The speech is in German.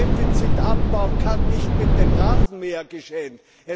Defizitabbau kann nicht mit dem Rasenmäher geschehen.